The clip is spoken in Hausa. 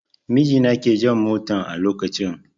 Mijina ke jan motan a lokacin